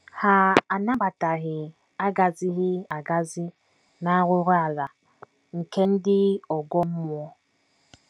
Ha anabataghị agazighị agazi na arụrụala nke ndị ọgọ mmụọ.